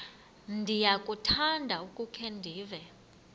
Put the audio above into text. ndiyakuthanda ukukhe ndive